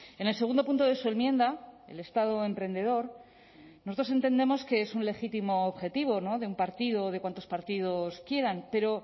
en el segundo punto de su enmienda el estado emprendedor nosotros entendemos que es un legítimo objetivo de un partido o de cuantos partidos quieran pero